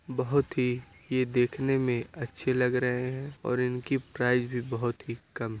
बहोत ही ये देखने में अच्छे लग रहे हैं और इनकी प्राइज भी बहुत कम है |